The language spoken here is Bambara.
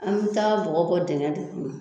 An bɛ taa bɔgɔ bɔ dingɛ de kɔnɔ.